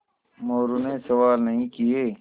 मोरू ने सवाल नहीं किये